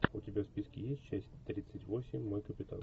у тебя в списке есть часть тридцать восемь мой капитан